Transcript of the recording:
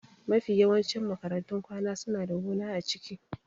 Mafi yawancin makarantun kwana suna da gona a ciki.